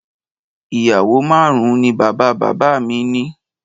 Ìyàwó márùn-ún ni bàbá-bàbá mi ni